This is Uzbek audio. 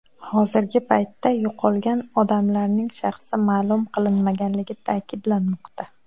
Hozirgi paytda yo‘qolgan odamlarning shaxsi ma’lum qilinmaganligi ta’kidlanmoqda.